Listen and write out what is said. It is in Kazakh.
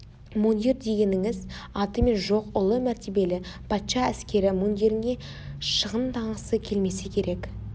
мундир дегеніңіз атымен жоқ ұлы мәртебелі патша әскері мундиріңе шығынданғысы келмесе керек